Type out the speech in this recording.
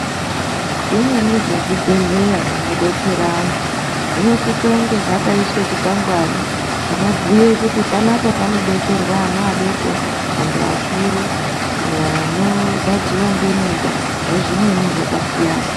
Zvimweni zvezvibhedhleya zvinodetsera antu zvinosise kunge zvakaiswe chikwangwani chinobhuye kuti panapa panodetserwa ana adoko, antu vakuru, vanorwadziwa ngemimba, nezvimweni zvakasiyana.